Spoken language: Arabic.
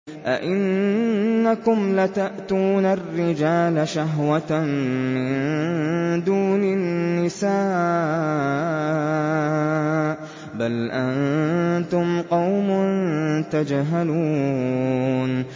أَئِنَّكُمْ لَتَأْتُونَ الرِّجَالَ شَهْوَةً مِّن دُونِ النِّسَاءِ ۚ بَلْ أَنتُمْ قَوْمٌ تَجْهَلُونَ